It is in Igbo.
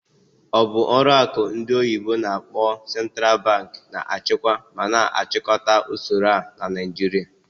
Ọ bụ ọlụ akụ ndị oyibo n'akpọ "Central Bank" na-achịkwa ma na-achịkọta usoro a na Naijiria?